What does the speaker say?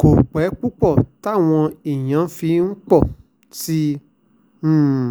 kò pẹ́ púpọ̀ táwọn èèyàn fi ń pọ̀ sí um i